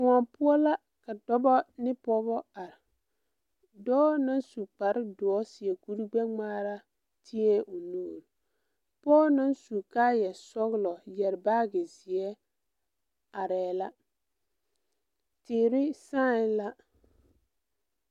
Kõɔ poɔ la ka dɔbɔ ne pɔɔbɔ are dɔɔ na su kparedoɔ seɛ kuri gbɛngmaara tiee o nuure pɔge naŋ su kaayɛ sɔglɔ yɛre baagi zeɛ areɛɛ la teere sããi la.